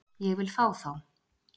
Ég vil fá þá